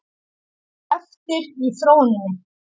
Þeir urðu eftir í þróuninni.